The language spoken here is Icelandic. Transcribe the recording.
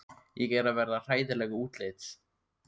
Ég er að verða hræðileg útlits.